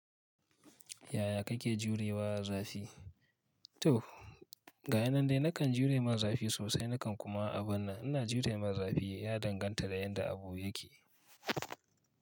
Yaya kake jurewa zafi? To, gayanan dai nakan jure ma zafi sosai nakan kuma abun nan ina jure ma zafi ya danganta da yanda abu yake.